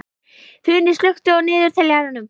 Funi, slökktu á niðurteljaranum.